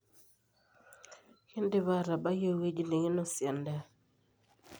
kendipa aatabai eweji nikinosie endaa